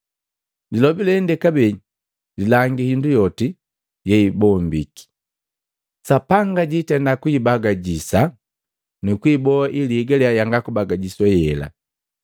Lilobi lende “Kabee.” Lilangi hindu yote yeibombiki, Sapanga jiitenda kuibagajisha nu kuiboa ili ihigalia yanga kubagajiswa yela.